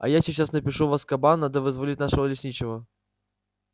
а я сейчас напишу в азкабан надо вызволить нашего лесничего